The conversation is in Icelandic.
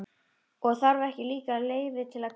Og þarf ekki líka leyfi til að kaupa þá?